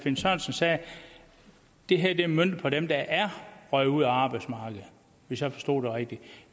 finn sørensen sagde er det her møntet på dem der er røget ud af arbejdsmarkedet hvis jeg forstod det rigtigt